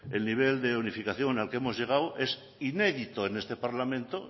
el nivel de unificación al que hemos llegado es inédito en este parlamento